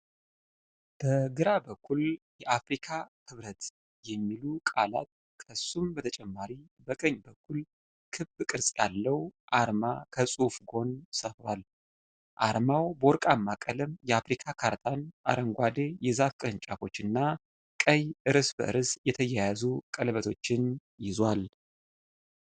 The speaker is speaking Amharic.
በግራ በኩል "የአፍሪካ ህብረት" የሚሉ ቃላት ከሱም በተጨማሪ በቀኝ በኩል ክብ ቅርጽ ያለው አርማ ከጽሁፉ ጎን ሰፍሯል። አርማው በወርቃማ ቀለም የአፍሪካ ካርትን፣ አረንጓዴ የዛፍ ቅርንጫፎች እና ቀይ እርስ በርስ የተያያዙ ቀለበቶችን ይዟል።